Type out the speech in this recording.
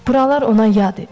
Buralar ona yad idi.